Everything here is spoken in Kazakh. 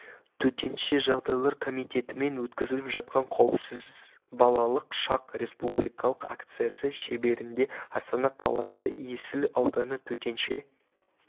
төтенше жағдайлар комитетімен өткізіліп жатқан қауіпсіз балалық шақ республикалық акциясы шеңберінде астана қаласы есіл ауданы төтенше